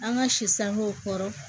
An ka si sangew kɔrɔ